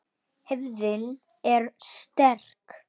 Hefðin er sterk.